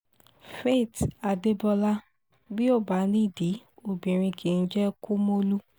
faith adébọlá bí ó bá nídìí obìnrin kì í jẹ́ kumolu